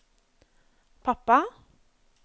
pappa